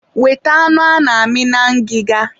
weta anụ ana-amị na ngịga.